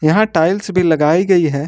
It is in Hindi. यहा टाइल्स भी लगाई गई है।